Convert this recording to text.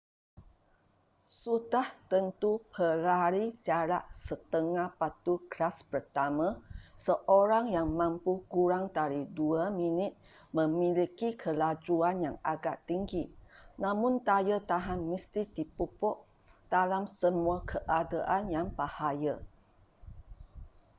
sudah tentu pelari jarak setengah batu kelas pertama seorang yang mampu kurang dari dua minit memiliki kelajuan yang agak tinggi namun daya tahan mesti dipupuk dalam semua keadaan yang bahaya